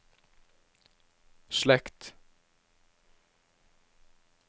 slekt